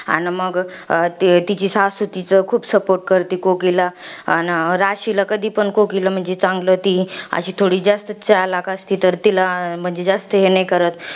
अन मग तिची सासू तीच खूप support करते, कोकिला. अन राशीला कधीपण कोकिला म्हणजे चांगलं ती अशी थोडी, जास्त चलाख असते तर तिला म्हणजे जास्त हे नाही करत.